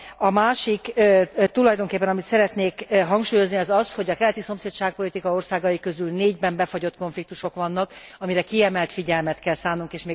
A másik tulajdonképpen, amit szeretnék hangsúlyozni, az az, hogy a keleti szomszédságpolitika országai közül négyben befagyott konfliktusok vannak, amire kiemelt figyelmet kell szánnunk.